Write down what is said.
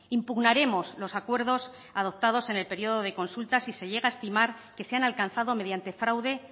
impugnaremos los acuerdos adoptados en el periodo de consulta si se llega a estimar que se han alcanzado mediante fraude